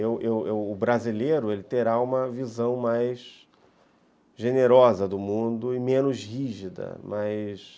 O brasileiro terá uma visão mais generosa do mundo e menos rígida, mas...